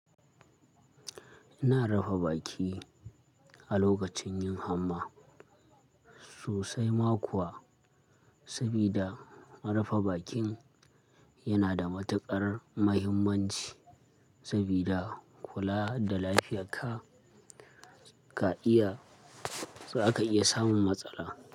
Ina rufa baki a lokacin yin hamma sosai ma kuwa, sabida rufa bakin yana da matuƙar muhimmanci sabida kula da lafiyarka ka iya, za ka iya samun matsala.